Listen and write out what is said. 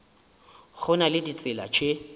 go na le ditsela tše